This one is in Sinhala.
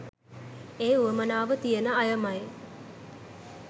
ඒ උවමනාව තියන අයමයි